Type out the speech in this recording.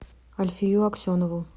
альфию аксенову